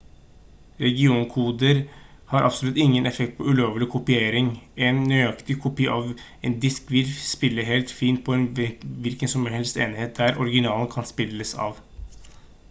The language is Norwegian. regionkoder har absolutt ingen effekt på ulovlig kopiering en nøyaktig kopi av en disk vil spille helt fint på en hvilken som helst enhet der originalen kan spilles av